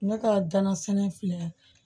Ne ka ganasɛnɛ filɛ